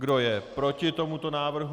Kdo je proti tomuto návrhu?